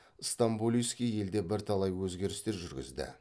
стамболийский елде бірталай өзгерістер жүргізді